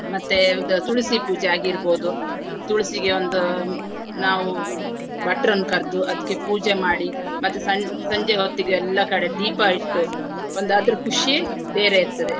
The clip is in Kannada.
ಮತ್ತೆ ಉದಾ~ ತುಳಸಿ ಪೂಜೆ ಆಗಿರ್ಬಹುದು. ತುಳಸಿಗೆ ಒಂದು ನಾವು ಭಟ್ರನ್ನು ಕರ್ದು ಅದಕ್ಕೆ ಪೂಜೆ ಮಾಡಿ ಮತ್ತೆ ಸಂ~ ಸಂಜೆ ಹೊತ್ತಿಗೆ ಎಲ್ಲಾ ಕಡೆ ದೀಪ ಇಟ್ಟು ಒಂದು ಅದ್ರ ಖುಷಿಯೇ ಬೇರೆ ಇರ್ತದೆ.